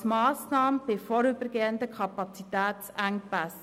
Dies ist eine Massnahme bei vorübergehenden Kapazitätsengpässen.